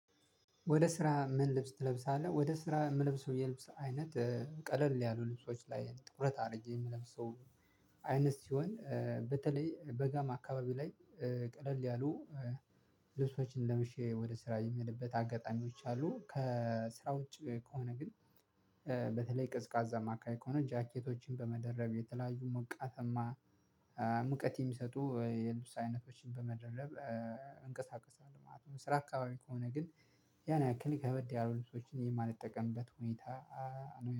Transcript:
ወደ ስራ ምን ልብስ ትለብሳለህ ወደ ስራ ምለብሰው የልብስ አይነት ቀለል ያሉ ልብሶች ላይ ትኩረት አርጌ ምለብሰው። አይነት ሲሆን በተለይ በጋም አካባቢው ላይ ቀለል ያሉ ልብሶችን ለብሼ ወደ ስራ የሚሄድበት አጋጣሚዎች አሉ። ከስራ ውጪ ከሆነ ግን። በተለይ ቀዝቃዛማ አካባቢ ከሆነ ጃኬቶችን በመደረብ የተለያዩ ሞቃታማ ሙቀት የሚሰጡ የልብስ አይነቶችን በመደረብ እንቀሳቀሳለሁ ማለት ነው። ስራ አካባቢ ከሆነ ግን ያን ያክል ከበድ ያሉ ልብሶችን የማልጠቀምበት ሁኔታ ነው